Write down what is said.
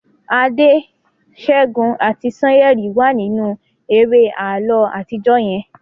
Ade, Segun ati Sanyeri wa ninu eré àlọ atijọ yen